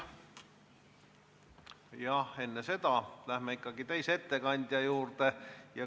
Jah, enne seda läheme ikkagi teise ettekande juurde.